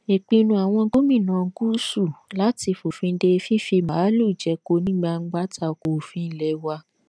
ìpinnu àwọn gómìnà gúúsù láti fòfin de fífi màálùú jẹko ní gbangba ta ko òfin ilé wa